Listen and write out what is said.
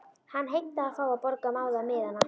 Hann heimtaði að fá að borga báða miðana.